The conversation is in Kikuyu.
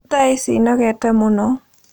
Tha ici nogete mũno